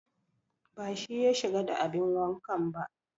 Ba shi ya shiga da abin wankan ba